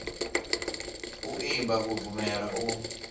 u imba u bvumela u